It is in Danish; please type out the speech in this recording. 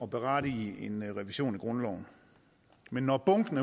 berettiger en revision af grundloven men når bunken